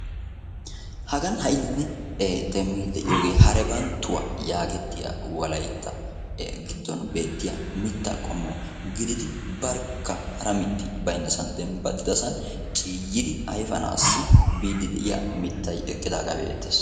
hagan ha'i nuun demmidi de'iyooge harebanttuwa yaagettiya Wolaytta giddon beettiya mitta qommo gididi barkka hara mitti baynnassan eqqidi ciyyidi ayfananiyaaga be'eettees.